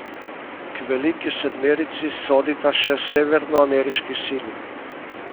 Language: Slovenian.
K veliki sedmerici sodita še severnoameriški sili.